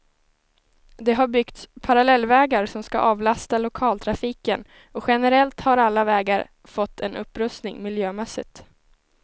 Det har byggts parallellvägar som skall avlasta lokaltrafiken och generellt har alla vägar fått en upprustning miljömässigt.